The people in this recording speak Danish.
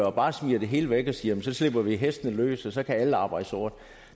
og smider det hele væk og siger jamen så slipper vi hestene løs og så kan alle arbejde sort